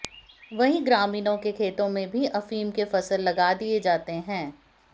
वहीं ग्रामीणों के खेतों में भी अफीम के फसल लगा दिए जाते हैं